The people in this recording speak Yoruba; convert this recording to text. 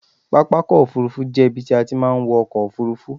Pápakọ̀ òfurufú jẹ́ ibi tí a ti máa ń wọ ọkọ̀ òfurufú.